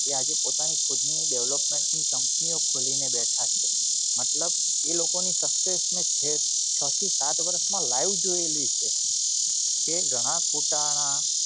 જે પોતાની ખુદ ની development ની company ઓ ખોલી ને બેઠા છે મતલબ એ લોકો ની મેં છે ચા થી સાત વર્ષ માં live જોયેલી છે તે ઘણાં ખોટાના